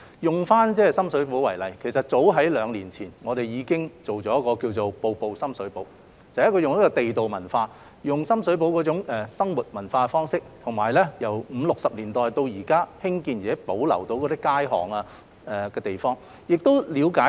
以深水埗為例，其實早於兩年前，我們已經推出一項名為"深水埗——步步地道"的項目，利用深水埗那種地道生活文化方式，以及由五六十年代已興建及保留至今的街巷和地方作推廣。